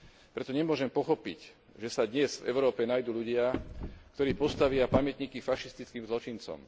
Preto nemôžem pochopiť, že sa dnes v Európe nájdu ľudia, ktorí postavia pamätníky fašistickým zločincom.